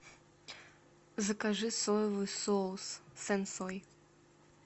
закажи соевый соус сен сой